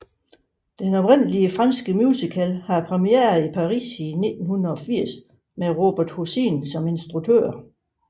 Den oprindelige franske musical havde premiere i Paris i 1980 med Robert Hossein som instruktør